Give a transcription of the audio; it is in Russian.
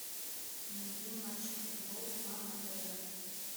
найди матч футбол два на тв